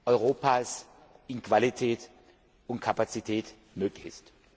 Europas an Qualität und Kapazität möglich ist.